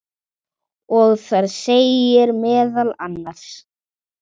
og þar segir meðal annars